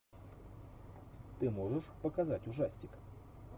ты можешь показать ужастик